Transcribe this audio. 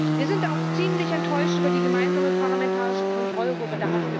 Wir sind auch ziemlich enttäuscht über die gemeinsame parlamentarische Kontrollgruppe.